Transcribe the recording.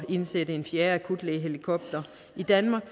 indsætte en fjerde akutlægehelikopter i danmark